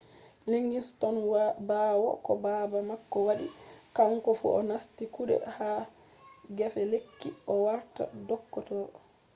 liggins tokki ɓawo ko baba mako waɗi kanko fu o nasti kuɗe ha gefe lekki o warta doktoro